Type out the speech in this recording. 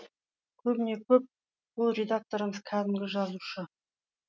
көбіне көп бұл редакторымыз кәдімгі жазушы